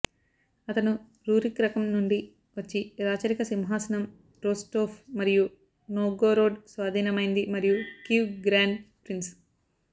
అతను రూరిక్ రకం నుండి వచ్చి రాచరిక సింహాసనం రోస్టోవ్ మరియు నొవ్గోరోడ్ స్వాధీనమైంది మరియు కీవ్ గ్రాండ్ ప్రిన్స్